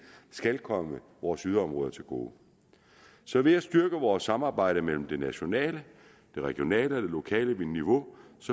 skal komme vores yderområder til gode så ved at styrke vores samarbejde mellem det nationale det regionale og det lokale niveau